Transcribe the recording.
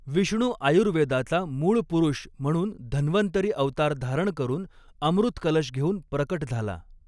विष्णू आयुर्वेदाचा मूळ पुरुष म्हणून धन्वन्तरी अवतार धारण करून अमृतकलश घेऊन प्रकट झाला.